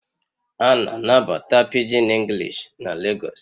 A na-anabata Pidgin English na Lagos